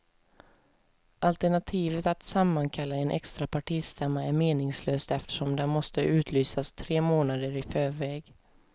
Alternativet att sammankalla en extra partistämma är meningslöst eftersom den måste utlysas tre månader i förväg.